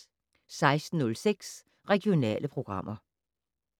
16:06: Regionale programmer